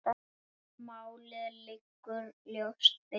Málið liggur ljóst fyrir.